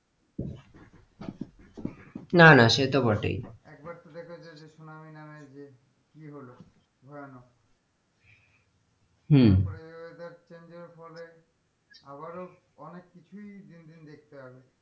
না না সে তো বটেই একবার তো দেখেছো যে সুনামি নামের যে কি হলো ভয়ানক হম তারপরে weather change এর ফলে আবারও অনেক কিছুই দিন দিন দেখতে হবে,